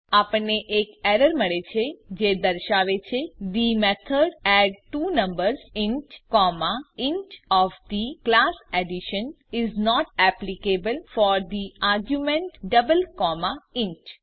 આપણને એક એરર મળે છે જે દર્શાવે છે the method add two numbers int comma int of the class addition is not applicable for the argument double comma int